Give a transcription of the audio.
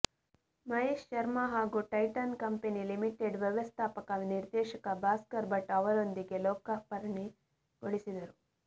ಮಹೇಶ್ ಶರ್ಮಾ ಹಾಗೂ Titan company limited ವ್ಯವಸ್ಥಾಪಕ ನಿರ್ದೇಶಕ ಭಾಸ್ಕರ್ ಭಟ್ ಅವರೊಂದಿಗೆ ಲೋಕಾರ್ಪಣೆಗೊಳಿಸಿದರು